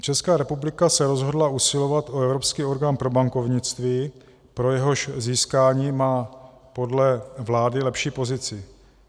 Česká republika se rozhodla usilovat o Evropský orgán pro bankovnictví, pro jehož získání má podle vlády lepší pozici.